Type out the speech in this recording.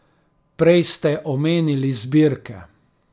Prej ste omenili zbirke.